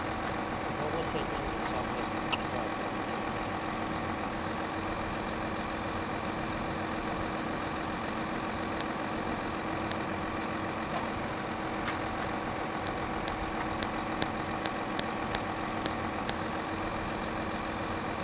lokusetyenziswa kwezixhpobo nezintyo